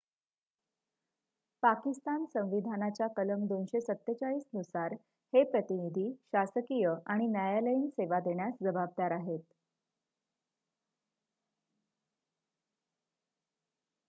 पाकिस्तान संविधानाच्या कलम 247 नुसार हे प्रतिनिधी शासकीय आणि न्यायालयीन सेवा देण्यास जबाबदार आहेत